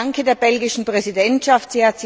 Ich danke der belgischen Präsidentschaft.